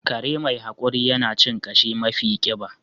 Kare mai haƙuri yana cin ƙashi mafi ƙiba